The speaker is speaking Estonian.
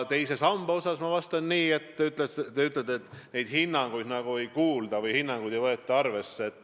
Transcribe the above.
Te ütlete, et teise samba kohta antud hinnanguid nagu ei kuulata või ei võeta arvesse.